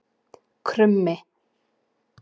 Krummi